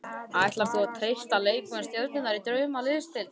Ætlar þú að treysta á leikmenn stjörnunnar í Draumaliðsdeildinni?